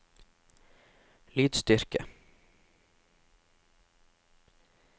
lydstyrke